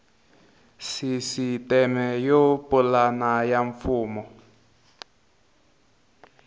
sisiteme yo pulana ya mfumo